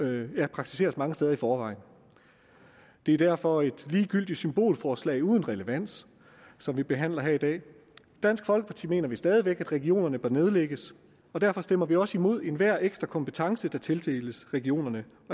praktiseres mange steder i forvejen det er derfor et ligegyldigt symbolforslag uden relevans som vi behandler her i dag i dansk folkeparti mener vi stadig væk at regionerne bør nedlægges og derfor stemmer vi også imod enhver ekstra kompetence der tildeles regionerne